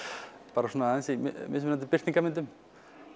bara svona aðeins í mismunandi birtingarmyndum